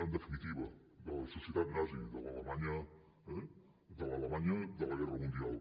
en definitiva de la societat nazi de l’alemanya de la guerra mundial